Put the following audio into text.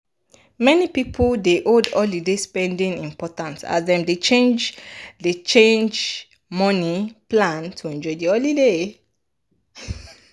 many people dey make holiday spending important as dem dey change dey money plan to enjoy de holiday.